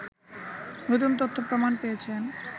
নতুন তথ্য প্রমাণ পেয়েছেন